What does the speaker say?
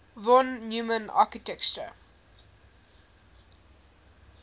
von neumann architecture